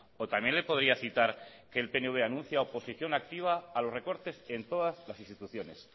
o también le podría citar que el pnv anuncia oposición activa a los recortes en todas las instituciones